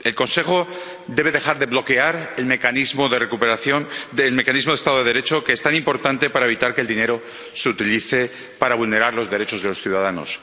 El Consejo debe dejar de bloquear el mecanismo del Estado de Derecho, que es tan importante para evitar que el dinero se utilice para vulnerar los derechos de los ciudadanos.